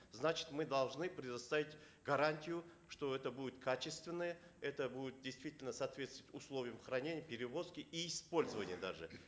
значит мы должны предоставить гарантию что это будет качественная это будет действительно соответствовать условиям хранения перевозки и использования даже